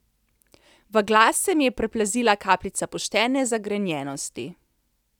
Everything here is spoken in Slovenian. V glas se mi je priplazila kapljica poštene zagrenjenosti.